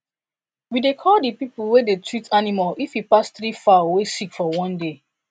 we dey call the people way dey treat animal if e pass three fowl way sick for one day